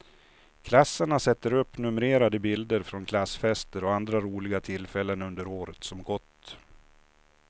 Klasserna sätter upp numrerade bilder från klassfester och andra roliga tillfällen under året som gått.